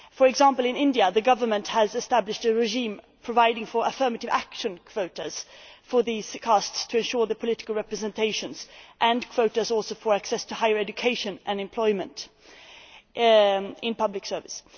For example, in India, the government has established a regime providing for affirmative action quotas for these castes, to ensure their political representation, as well as quotas for access to higher education and employment in public service.